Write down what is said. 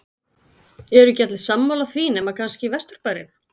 eru ekki allir sammála því nema kannski vesturbærinn?